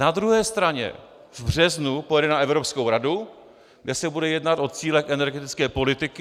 Na druhé straně v březnu pojede na evropskou radu, kde se bude jednat o cílech energetické politiky.